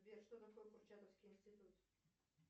сбер что такое курчатовский институт